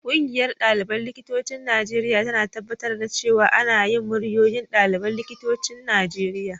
Ƙungiyar ɗaliban likitocin Najeriya tana tabbatar da cewa ana jin muryoyin ɗaliban likitocin Najeriya.